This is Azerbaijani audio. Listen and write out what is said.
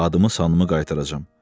Adımı sanımı qaytaracam.